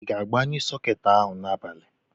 I ga-agbanyụ sọketi ahụ n'abalị?